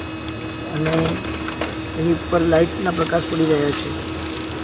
અને એની ઉપર લાઇટ ના પ્રકાસ પડી રહ્યા છે.